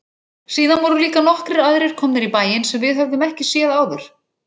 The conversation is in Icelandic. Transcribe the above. Síðan voru líka nokkrir aðrir komnir í bæinn sem við höfðum ekki séð áður.